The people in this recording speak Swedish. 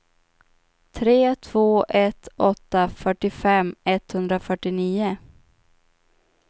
tre två ett åtta fyrtiofem etthundrafyrtionio